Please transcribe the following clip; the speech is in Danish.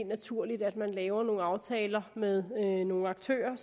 naturligt at man laver nogle aftaler med nogle aktører